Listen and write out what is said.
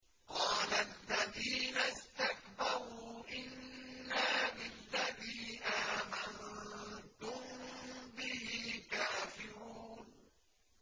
قَالَ الَّذِينَ اسْتَكْبَرُوا إِنَّا بِالَّذِي آمَنتُم بِهِ كَافِرُونَ